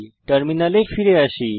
টার্মিনালে ফিরে আসি